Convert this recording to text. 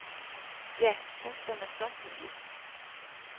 Ja, hvad skal man så sige.